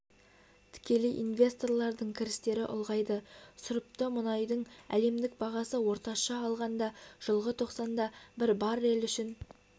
тікелей инвесторлардың кірістері ұлғайды сұрыпты мұнайдың әлемдік бағасы орташа алғанда жылғы тоқсанда бір баррель үшін